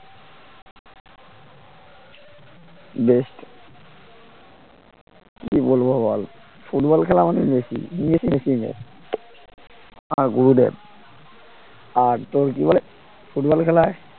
best কি বলবো বল ফুটবল খেলা মানেই মেসি আমার গুরুদেব আর তোর কি বলে ফুটবল খেলায়